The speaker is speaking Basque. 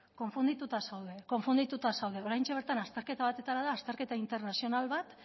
konfundituta zaude oraintxe bertan azterketa bat atera da azterketa internazional bat